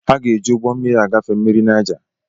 Ha ga eji igbo mmiri agafe mmiri naija